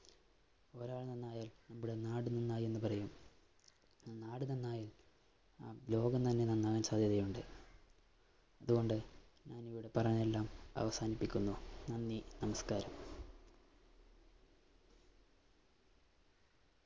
ഒരാള്‍ നന്നായാല്‍ ഇവിടെ നാട് നന്നായിയെന്നു പറയും. നാട് നന്നായാല്‍ ആ ലോകം തന്നെ നന്നാകാന്‍ സാധ്യതയുണ്ട്. അതുകൊണ്ട് ഞാനിവിടെ പറയുന്നതെല്ലാം അവസാനിപ്പിക്കുന്നു. നന്ദി, നമസ്കാരം.